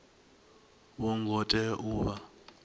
vho ngo tea u vha